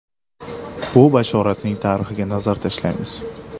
Bu bashoratning tarixiga nazar tashlaymiz.